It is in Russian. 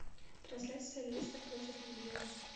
трансляция лестер против ливера